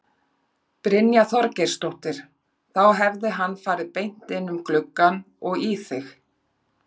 Brynja Þorgeirsdóttir: Þá hefði hann farið beint inn um gluggann og í þig?